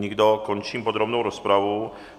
Nikdo, končím podrobnou rozpravu.